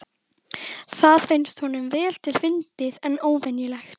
Það finnst honum vel til fundið en óvenjulegt.